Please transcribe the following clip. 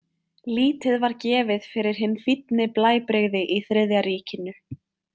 Lítið var gefið fyrir hin fínni blæbrigði í Þriðja ríkinu.